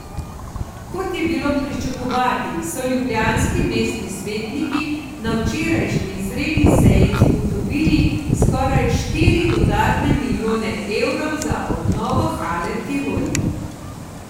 Kot je bilo pričakovati, so ljubljanski mestni svetniki na včerajšnji izredni seji zagotovili skoraj štiri dodatne milijone evrov za obnovo Hale Tivoli.